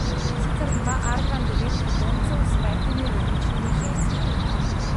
Sicer ima Arkan devet potomcev s petimi različnimi ženskami.